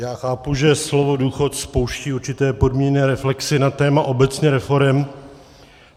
Já chápu, že slovo důchod spouští určité podmíněné reflexy na téma obecně reforem.